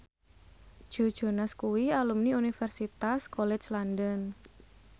Joe Jonas kuwi alumni Universitas College London